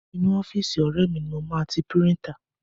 Inú ọ́fíìsì ọ̀rẹ́ ni mo máa ti píríńtà.